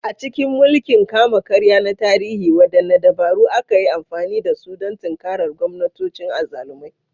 A cikin mulkin kama-karya na tarihi, waɗanne dabaru aka yi amfani da su don tinkarar gwamnatocin azzalumai?